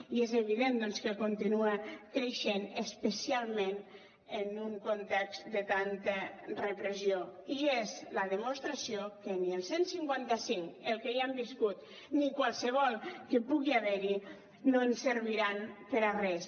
i és evident doncs que continua creixent especialment en un context de tanta repressió i és la demostració que ni el cent i cinquanta cinc el que ja hem viscut ni qualsevol que pugui haver hi no serviran per a res